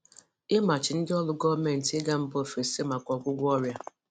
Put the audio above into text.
Ịmachi ndị ọrụ gọọmenti ịga mba ofesi maka ọgwụgwọ ọrịa